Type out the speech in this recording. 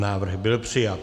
Návrh byl přijat.